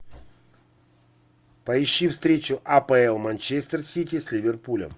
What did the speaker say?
поищи встречу апл манчестер сити с ливерпулем